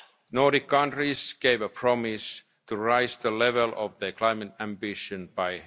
meeting in Helsinki. Nordic countries gave a promise to raise the level of their